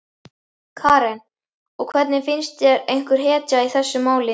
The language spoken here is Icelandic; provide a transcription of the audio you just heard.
Karen: Og finnst þér einhver hetja í þessu máli?